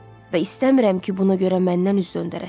Və istəmirəm ki, buna görə məndən üz döndərəsiz.